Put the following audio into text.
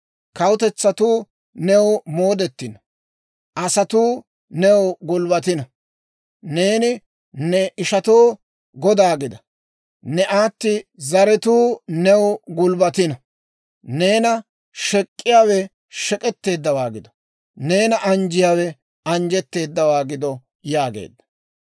Kawutetsatuu new moodettino; asatuu new gulbbatino. Neeni ne ishatoo goda gida; ne aati zaratuu new gulbbatino. Neena shek'k'iyaawe shek'etteeddawaa gido; neena anjjiyaawe anjjetteeddawaa gido» yaageedda.